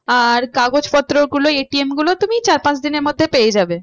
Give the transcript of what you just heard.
আর কাগজপত্র গুলো ATM গুলো তুমি চার পাঁচ দিনের মধ্যে পেয়ে যাবে।